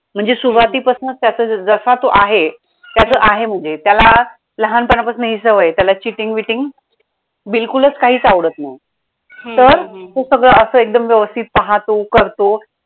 म्हणजे सुरुवातीपासनंच त्याचं जसा तो आहे त्याचं आहे म्हणजे त्याला लहानपणापासून ही सवय आहे त्याला cheating beating बिलकुलच काहीच आवडत नाही तर ते सगळं असं एकदम व्यवस्थित पाहतो, करतो.